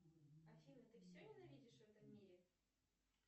афина ты все ненавидишь в этом мире